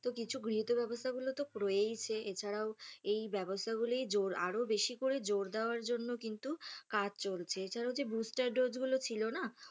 তো কিছু গৃহীত ব্যবস্থাগুলো তো রয়েইছে এছাড়াও এই ব্যবস্থাগুলোয় আরও বেশি করে জোর দেওয়ার জন্য কিন্তু কাজ চলছে। এছাড়াও যে booster dose গুলো ছিল না,